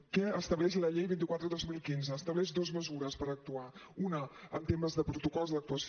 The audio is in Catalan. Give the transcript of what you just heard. què estableix la llei vint quatre dos mil quinze estableix dues mesures per actuar una en temes de protocols d’actuació